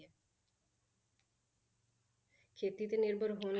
ਖੇਤੀ ਤੇ ਨਿਰਭਰ ਹੋਣ